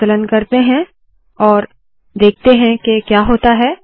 संकलन करते है और देखते है क्या होता है